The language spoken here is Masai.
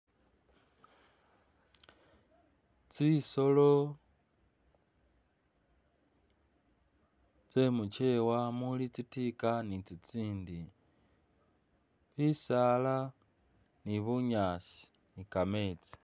Tsisolo tsyemukyewa muli tsitika nitsitsindi, bisala ni bunyasi kametsi